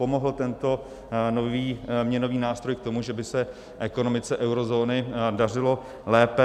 Pomohl tento nový měnový nástroj k tomu, že by se ekonomice eurozóny dařilo lépe?